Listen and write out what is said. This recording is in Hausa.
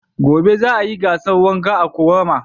Gobe za a yi gasar wanka a ƙorama.